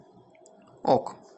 ок